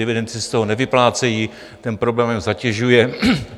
Dividendy se z toho nevyplácejí, ten problém jen zatěžuje.